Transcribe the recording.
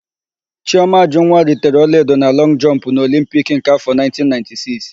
Chiọma Ajụnwa ritere ọlaedo na lọngụ jọmpụ n'Olimpiki nke áfọ̀ 1996.